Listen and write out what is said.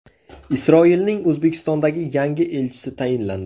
Isroilning O‘zbekistondagi yangi elchisi tayinlandi.